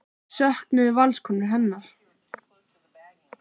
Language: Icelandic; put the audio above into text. Söknuðu Valskonur hennar?